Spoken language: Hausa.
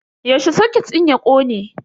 Yaushe soket din ya kone?